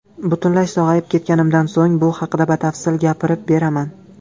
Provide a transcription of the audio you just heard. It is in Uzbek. Butunlay sog‘ayib ketganimdan so‘ng bu haqida batafsil gapirib beraman.